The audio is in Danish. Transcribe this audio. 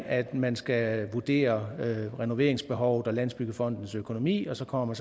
at man skal vurdere renoveringsbehovet og landsbyggefondens økonomi og så kommer